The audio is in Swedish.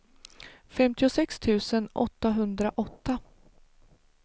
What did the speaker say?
femtiosex tusen åttahundraåtta